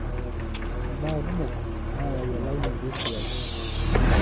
Imbaa kumok naayau elaunoto esiai.